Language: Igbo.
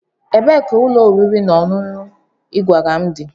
Ebee ka ụlọ oriri na ọṅụṅụ ị gwara m dị?